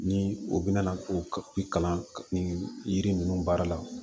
Ni u bɛna ko kalan ka yiri ninnu baara la